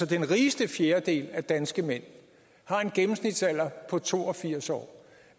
den rigeste fjerdedel af danske mænd har en gennemsnitsalder på to og firs år